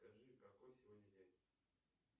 скажи какой сегодня день